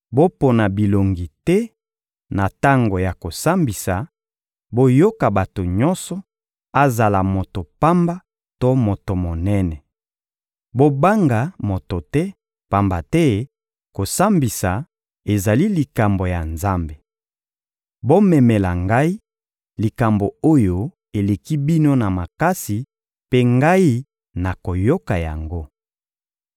Bopona bilongi te na tango ya kosambisa, boyoka bato nyonso: azala moto pamba to moto monene. Bobanga moto te, pamba te kosambisa ezali likambo ya Nzambe. Bomemela ngai likambo oyo eleki bino na makasi mpe ngai nakoyoka yango.»